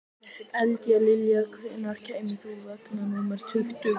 Eldlilja, hvenær kemur vagn númer tuttugu?